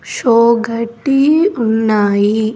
Show గట్టి ఉన్నాయి.